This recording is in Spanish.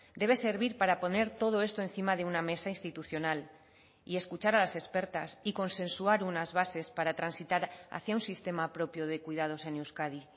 debe servir para poner todo esto encima de una mesa institucional y escuchar a las expertas y consensuar unas bases para transitar hacia un sistema propio de cuidados en euskadi